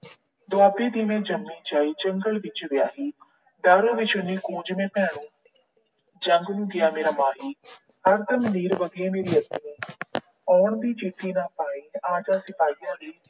ਦੁਆਬੇ ਦੀ ਮੈਂ ਜੰਮੀ ਜਾਈ ਜੰਗਲ ਵਿਚ ਵਿਆਹੀ, ਦੇਸ ਵਿਛੁੰਨੀ ਕੂੰਜ ਮੈਂ ਭੈਣੋ ਜੰਗ ਨੂੰ ਗਿਆ ਮੇਰਾ ਮਾਹੀ। ਹਰਦਮ ਨੀਰ ਵਗੇ ਮੇਰੀ ਅਖੀਓਂ ਆਉਣ ਦੀ ਚਿੱਠੀ ਨਾ ਪਾਈ, ਆਜਾ ਸਿਪਾਹੀਆ ਵੇ